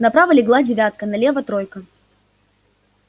направо легла девятка налево тройка